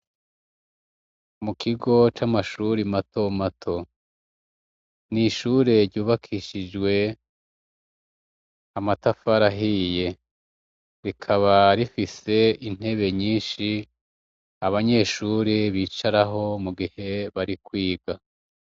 Mukigo c'amashure mato mato, n'ishure ryubakishijwe amatafari ahiye rikaba rifise intebe nyishi abanyeshure bicaraho igihe bari kwiga.